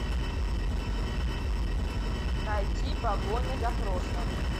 найти погоня за прошлым